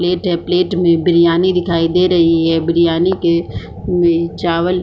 plate है plate में बिरयानी दिखाई दे रही है बिरयानी के में चावल --